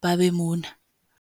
ba be mona.